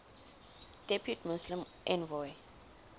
depute muslim envoy